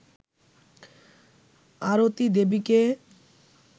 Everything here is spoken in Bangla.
আরতি দেবীকে